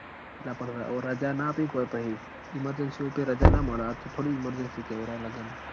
અલા પણ રજા ના આપી ક ભઈ emergency વગર રજા ના મળ આ તો થોડી emergency કેવાય લગન